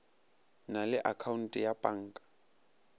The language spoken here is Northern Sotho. na le akhaonte ya panka